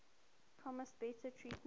promised better treatment